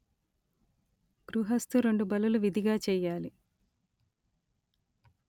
గృహస్థు రెండు బలులు విధిగా చెయ్యాలి